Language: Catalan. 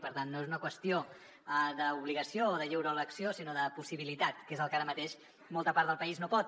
per tant no és una qüestió d’obligació o de lliure elecció sinó de possibilitat que és el que ara mateix molta part del país no pot